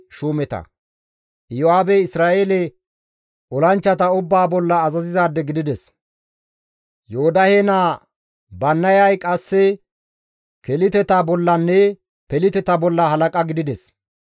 Iyo7aabey Isra7eele olanchchata ubbaa bolla azazizaade gidides; Yoodahe naa Bannayay qasse Keliteta bollanne Peliteta bolla halaqa gidides.